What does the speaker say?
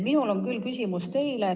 Minul on küll küsimus teile.